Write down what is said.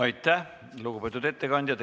Aitäh, lugupeetud ettekandja!